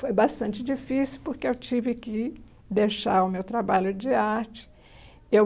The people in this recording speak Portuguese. Foi bastante difícil porque eu tive que deixar o meu trabalho de arte. Eu